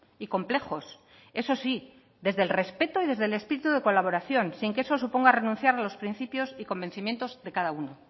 y complejos eso sí desde el respeto y desde el espíritu de colaboración sin que eso suponga renunciar a los principios y convencimientos de cada uno